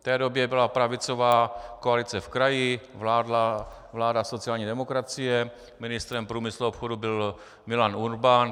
V té době byla pravicová koalice v kraji, vládla vláda sociální demokracie, ministrem průmyslu a obchodu byl Milan Urban.